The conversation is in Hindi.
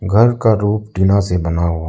घर का रूफ टीना से बना हुआ--